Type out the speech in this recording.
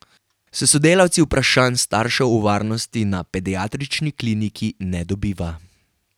S sodelavci vprašanj staršev o varnosti na pediatrični kliniki ne dobiva.